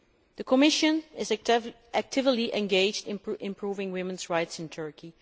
clear. The Commission is actively engaged in improving women's rights in Turkey.